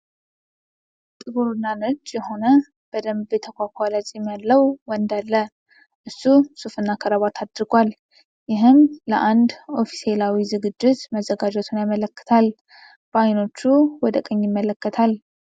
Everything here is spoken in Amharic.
ጥቁርና ነጭ የሆነ በደንብ የተኳኳለ ፂም ያለው ወንድ አለ። እሱ ሱፍና ክራባት አድርጓል፣ ይህም ለአንድ ኦፊሴላዊ ዝግጅት መዘጋጀቱን ያመለክታል፤ በአይኖቹ ወደ ቀኝ ይመለከታል።